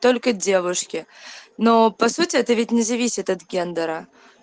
только девушки но по сути это ведь не зависит от гендера